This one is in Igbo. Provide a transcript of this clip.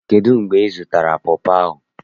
Kedu mgbe izụtara pọpọ ahụ?